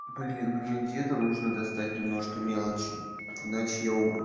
блин мне где-то нужно достать немножко мелочи иначе я умру